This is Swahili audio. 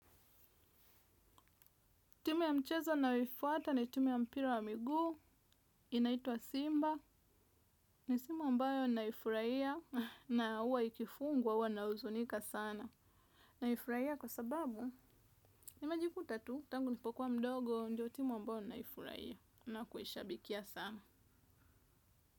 Timu ya mchezo ninayoifuata ni timu ya mpira wa miguu, inaitwa Simba. Ni simu ambayo naifurahia na huwa ikifungwa huwa na huzunika sana. Naifurahia kwa sababu, nimejikuta tu, tangu nilipokuwa mdogo, ndio timu ambayo naifurahia. Na kuishabikia sana.